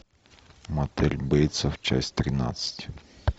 мотель бейтсов часть тринадцать